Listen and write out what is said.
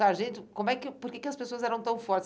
Sargento, como é que, por que que as pessoas eram tão fortes?